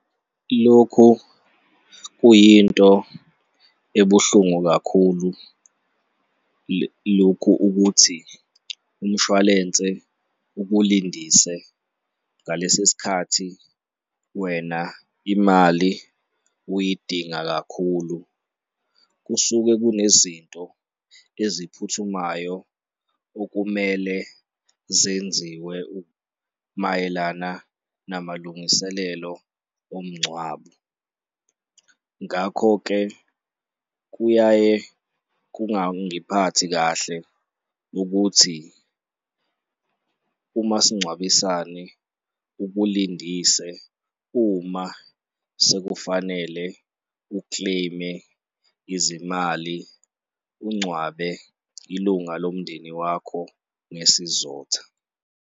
Lokho kuyinto ebuhlungu kakhulu, lokhu ukuthi umshwalense ukulindise ngalesi sikhathi wena imali uyidinga kakhulu, kusuke kune zinto eziphuthumayo okumele zenziwe mayelana namalungiselelo omngcwabo. Ngakho-ke, kuyaye kungawungiphathi kahle ukuthi umasingcwabisane ukulindise uma sekufanele u-claim-e izimali ungcwabe ilunga lomndeni wakho ngesizotha.